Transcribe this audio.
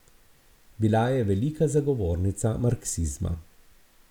Bila je velika zagovornica marksizma.